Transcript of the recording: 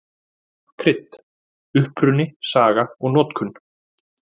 Krydd: Uppruni, saga og notkun.